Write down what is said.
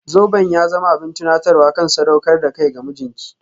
Zoben ya zama abin tunatarwa kan sadaukar da kai ga mijinki.